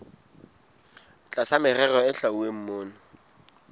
tlasa merero e hlwauweng mona